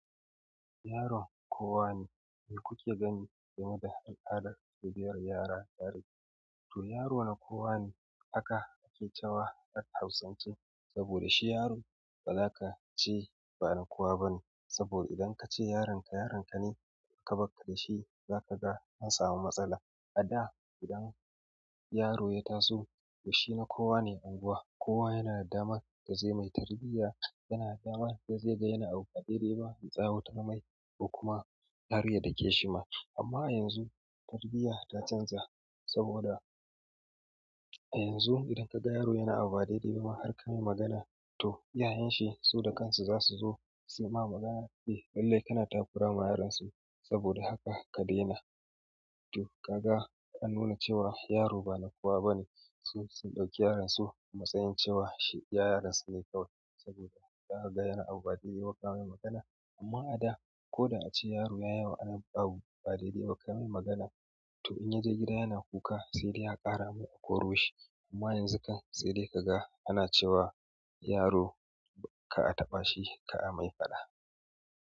Yaron kowa ne, mi kuke gani game da al'adar tarbiyyar yara tare, to yaro na kowa ne. Haka ake cewa har hausance saboda shi yaro ba za ka ce ba na kowa bane. Saboda idan kace yaronka, yaronka ne, aka bakka da shi, za ka ga an samu matsala. A da, idan yaro ya taso, to shi na kowa ne unguwa. Kowa yana dama da zai mai tarbiyya, yana dama da zai ga yana abu ba daidai ba, ya tsawatar mai ko kuma har ya da ke shi ma. Amma a yanzu, tarbiyya ta canja saboda a yanzu idan kaga yaro yana abu ba daidai ba ma har ka mai magana to iyayenshi su da kansu zasu zo suy ma magana lallai kana takura ma yaron su don haka ka daina to kaga an nuna cewa yaro ba na kowa bane. Su, sun ɗauki yaron su a matsayin cewa shi iya yaron su ne kawai saboda ka haga yana abu ba daidai ba kamai magana. Amma a da, ko da ace yaro ya yi abu ba daidai ba, kai mai magana, to in ya je gida yana kuka sai dai a ƙara mai a koro shi. Amma yanzu kan sai dai ka ga ana cewa yaro ka a taɓa shi, ka a mai faɗa.